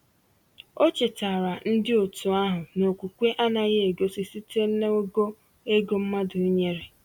Ọ chetaara ndi otu ahụ na okwukwe anaghị egosi site n’ogo ego mmadụ nyere.